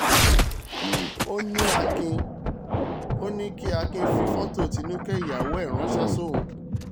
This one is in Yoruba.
ó ní kí akin fi fọ́tò tinúkẹ́ ìyẹn ìyàwó ẹ̀ ránṣẹ́ sóun